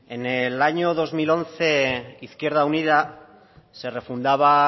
en el año dos mil once izquierda unida se refundaba